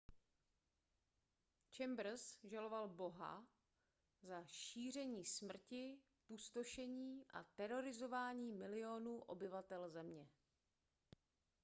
chambers žaloval boha za šíření smrti pustošení a terorizování milionů obyvatel země